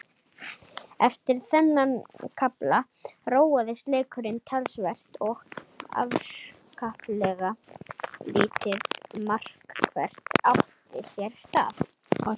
Eftir þennan kafla róaðist leikurinn talsvert og afskaplega lítið markvert átti sér stað.